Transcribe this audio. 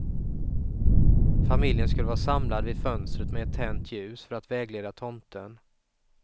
Familjen skulle vara samlad vid fönstret med ett tänt ljus, för att vägleda tomten.